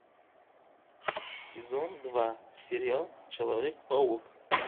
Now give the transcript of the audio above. сезон два сериал человек паук